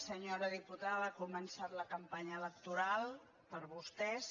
senyora diputada ha començat la campanya electoral per a vostès